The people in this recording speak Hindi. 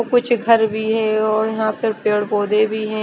कुछ घर भी है और यहाँ पे पेड़ पौधे भी है।